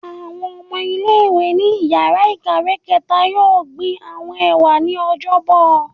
Awọn ọmọ ile-iwe ni íyarà ikáwe kẹta yọọ gbín awọn ewa ni Ọjọbọ